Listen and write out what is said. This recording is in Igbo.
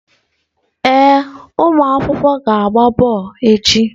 Ee ụmụ akwụkwọ ga-agba bọọlụ echi.